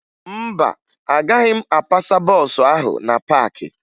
Mba, agaghị m apasa bọọsụ ahụ na paakị